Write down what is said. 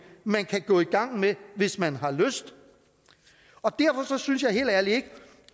man kan gå i gang med hvis man har lyst og derfor synes jeg helt ærligt ikke